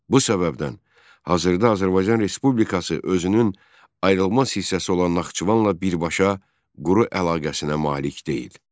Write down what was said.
Bu səbəbdən hazırda Azərbaycan Respublikası özünün ayrılmaz hissəsi olan Naxçıvanla birbaşa quru əlaqəsinə malik deyil.